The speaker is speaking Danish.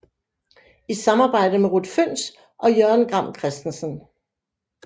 I samarbejde med Ruth Fønss og Jørgen Gram Christensen